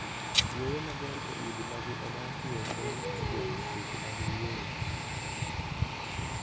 Yweyo maber e udi ma gi odakie konyo e geng'o tuoche mag yueyo.